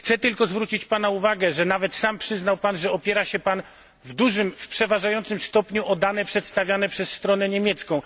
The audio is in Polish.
Chcę tylko zwrócić Pana uwagę, że nawet sam przyznał Pan, że opiera się Pan w przeważającym stopniu o dane przedstawiane przez stronę niemiecką.